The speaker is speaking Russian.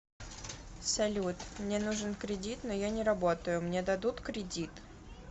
салют мне нужен кредит но я не работаю мне дадут кредит